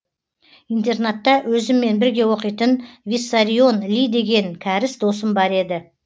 интернатта өзіммен бірге оқитын виссарион ли деген кәріс досым бар еді